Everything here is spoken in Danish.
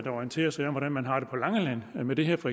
orientere sig om hvordan man har det med det her på